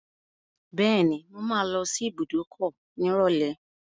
Bẹ́ẹ̀ni, mo máa lọ sí ibùdókọ̀ nírọ̀lẹ́.